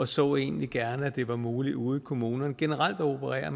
så egentlig gerne at det var muligt ude i kommunerne generelt at operere